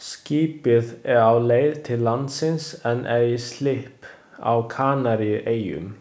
Skipið er á leið til landsins en er í slipp á Kanaríeyjum.